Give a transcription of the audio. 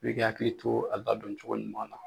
i ka hakili to a ladon cogo ɲuman na.